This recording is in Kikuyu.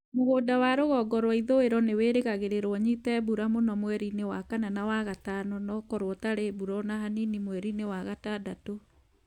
Mũgũnda wa North-western nĩ wĩrĩgagĩrĩrũo ũnyite mbura mũno mweri-inĩ wa Kana na wa Mĩĩ na ũkorũo ũtarĩ mbura o na hanini mweri-inĩ wa Gatandatũ.